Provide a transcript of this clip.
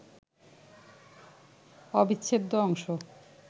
অবিচ্ছেদ্য অংশ